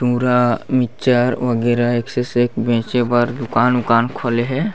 पूरा मिक्चर वगैरह एक से सेक बेचे पर दुकान ऊकान खोले हे।